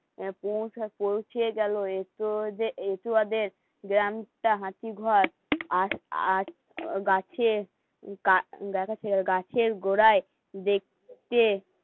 পৌঁছে গেলো একটু আগে হাঁচি ভর আর গাছে গাছের গোড়ায় দেখতে যেরকম দেখবে মাটির পোড়ামাটি মস্ত হাসি মস্ত ঘোড়া ছোট ছোট এমন